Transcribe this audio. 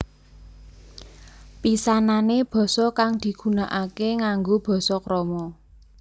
Pisanané basa kang digunakaké nganggo basa krama